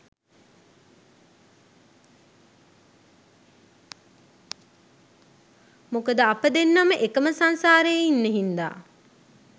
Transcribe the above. මොකද අප දෙන්නම එකම සංසාරේ ඉන් හින්දා